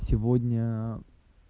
сегодня